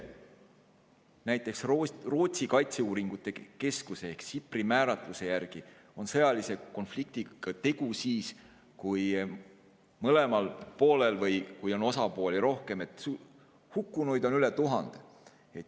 Näiteks Rootsi kaitseuuringute keskuse määratluse järgi on sõjalise konfliktiga tegu siis, kui mõlemal poolel või ka siis, kui on osapooli rohkem, hukkunuid on üle 1000.